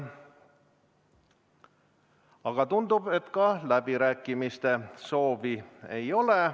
Aga tundub, et ka läbirääkimiste soovi ei ole.